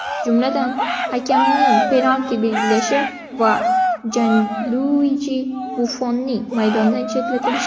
Jumladan, hakamning penalti belgilashi va Janluiji Buffonnning maydondan chetlatilishi.